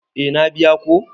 Eh na biya ko.